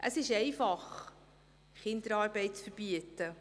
Es ist einfach, Kinderarbeit zu verbieten.